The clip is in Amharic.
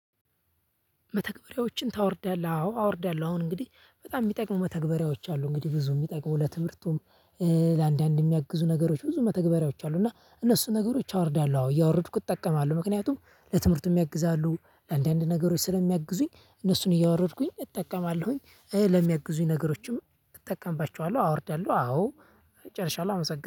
መተግበሪያዎችን ታወርዳለህ? አዎ አወርዳለሁ አሁን እንግዲህ በጣም የሚጠቅሙ መተግበሪያዎች አሉ። እንግዲህ ብዙ የሚጠቅሙ ለትምህርቱም ለአንዳንድ የሚያግዙ ነገሮች ብዙ መተግበሪያዎች አሉ። እና እነሱን ነገሮች አወርዳለሁ አዎ እያወረድኩት እጠቀማለሁ። ምክንያቱም ለትምህርቱም ያግዛሉ። አንዳንድ ነገሮች ስለሚያግዙኝ እነሱን እያወረድኩኝ እጠቀማለሁኝ። ለሚያግዙኝ ነገሮችም እጠቀምባቸዋለሁ። አወርዳለሁ አዎ። ጨርሻለሁ አመሰግናለሁ